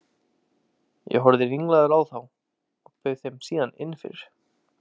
Hann horfði ringlaður á þá og bauð þeim síðan inn fyrir.